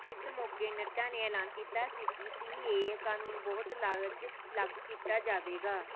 ਇਸ ਮੌਕੇ ਨੱਡਾ ਨੇ ਐਲਾਨ ਕੀਤਾ ਸੀ ਕਿ ਸੀਏਏ ਕਾਨੂੰਨ ਬਹੁਤ ਲਜ ਲਾਗੂ ਕੀਤਾ ਜਾਵੇਗਾ